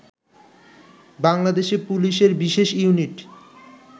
বাংলাদেশে পুলিশের বিশেষ ইউনিট